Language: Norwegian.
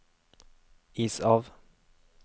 is av